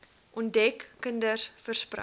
onder kinders versprei